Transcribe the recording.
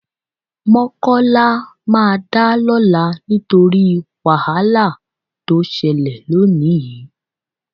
Mọ́kọ́lá máa dá lọ́la nítorí wàhálà tó ṣẹlẹ̀ lónìí